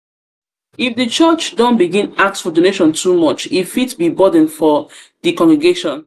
di church don begin ask for donation too much e fit be burden for di congregation